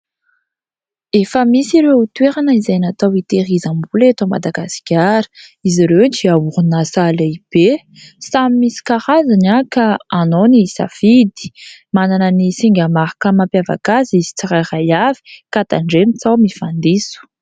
efa misy ireo otoerana izay natao iterizambola eto madagaskara izy ireo tiahorinasah lehibe sam'y misy karaziny ahy ka anao ny safidy manana ny singamarkamampiavaka azy izy tsiray ray avy ka tandre mitsao mifandiso